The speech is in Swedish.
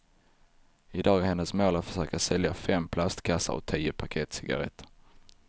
I dag är hennes mål att försöka sälja fem plastkassar och tio paket cigaretter.